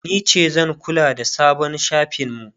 nice zanta kula da sabon shafin mu